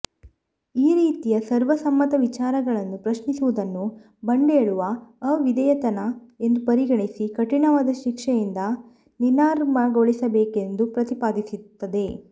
ಈ ರೀತಿಯ ಸರ್ವ ಸಮ್ಮತ ವಿಚಾರಗಳನ್ನು ಪ್ರಶ್ನಿಸುವುದನ್ನು ಬಂಡೇಳುವ ಅವಿಧೇಯತನ ಎಂದು ಪರಿಗಣಿಸಿ ಕಠಿಣವಾದ ಶಿಕ್ಷೆಯಿಂದ ನಿನರ್ಾಮಗೊಳಿಸಬೇಕೆಂದು ಪ್ರತಿಪಾದಿಸುತ್ತದೆ